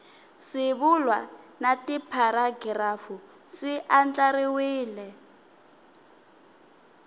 swivulwa na tipharagirafu swi andlariwile